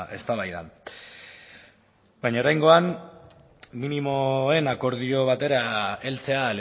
eztabaidan baina oraingoan minimoen akordio batera heltzea